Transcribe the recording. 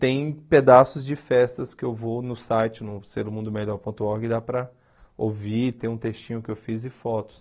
tem pedaços de festas que eu vou no site, no ser um mundo melhor ponto org, dá para ouvir, tem um textinho que eu fiz e fotos.